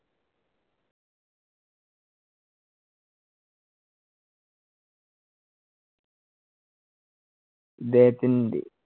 ഇദ്ദേഹത്തിന്‍റെ